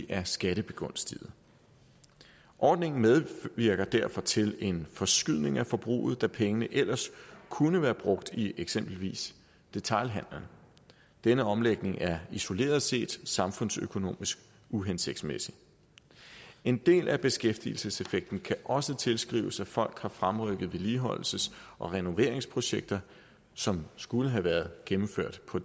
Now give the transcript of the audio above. er skattebegunstiget ordningen medvirker derfor til en forskydning af forbruget da pengene ellers kunne være blevet brugt i eksempelvis detailhandelen denne omlægning er isoleret set samfundsøkonomisk uhensigtsmæssig en del af beskæftigelseseffekten kan også tilskrives at folk har fremrykket vedligeholdelses og renoveringsprojekter som skulle have været gennemført på